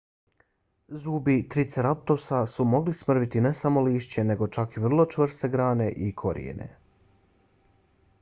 zubi triceratopsa su mogli smrviti ne samo lišće nego čak i vrlo čvrste grane i korijenje